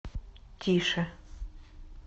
тише